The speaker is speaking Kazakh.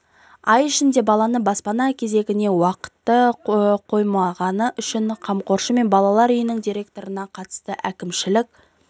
ай ішінде баланы баспана кезегіне уақыты қоймағаны үшін қамқоршы мен балалар үйінің директорына қатысты әкімшілік